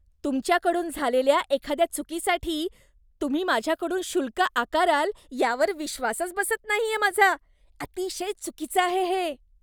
तुमच्या कडून झालेल्या एखाद्या चुकीसाठी तुम्ही माझ्याकडून शुल्क आकाराल यावर विश्वासच बसत नाहीये माझा. अतिशय चुकीचं आहे हे.